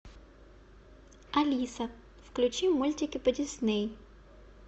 алиса включи мультики по дисней